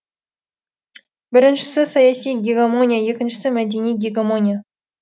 біріншісі саяси гегемония екіншісі мәдени гегемония